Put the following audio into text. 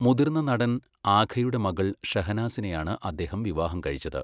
മുതിർന്ന നടൻ ആഘയുടെ മകൾ ഷഹനാസിനെയാണ് അദ്ദേഹം വിവാഹം കഴിച്ചത്.